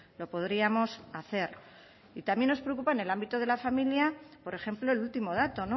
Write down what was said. lo podríamos hacer y también nos preocupa en el ámbito de la familia por ejemplo el último dato